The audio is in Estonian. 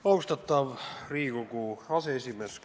Austatav Riigikogu aseesimees!